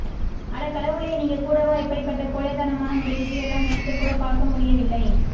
அடக் கடவுளே நீங்க கூடவா இப்படிப்பட்ட கோழைத்தனமான முடிவுக்கு எல்லாம் நினைத்துக்கூட பார்க்க முடிய வில்லை